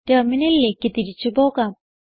ടെർമിനലിലേക്ക് തിരിച്ചു പോകാം